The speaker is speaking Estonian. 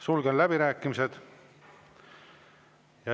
Sulgen läbirääkimised.